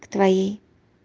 в твоей